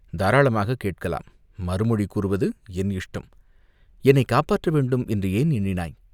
"தாராளமாகக் கேட்கலாம், மறுமொழி கூறுவது என் இஷ்டம்." "என்னைக் காப்பாற்ற வேண்டும் என்று ஏன் எண்ணினாய்?